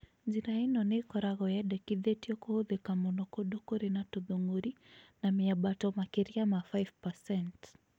Njĩra ĩno nĩ ĩkoragwo yendĩkithĩtio kũhũthĩka mũno kũndũ kũrĩ na tũthũng'ũri na mĩambato makĩria ma 5%.